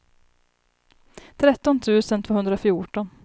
tretton tusen tvåhundrafjorton